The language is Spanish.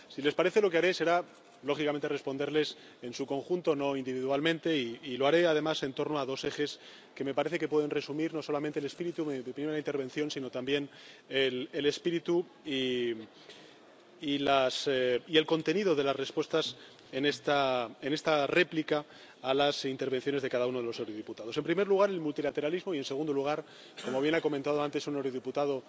Si les parece, lo que haré será, lógicamente, responderles en su conjunto, no individualmente, y lo haré además en torno a dos ejes que me parece que pueden resumir no solamente el espíritu de mi primera intervención, sino también el espíritu y el contenido de las respuestas en esta réplica a las intervenciones de cada uno de los diputados en primer lugar, el multilateralismo y, en segundo lugar —como bien ha comentado antes un eurodiputado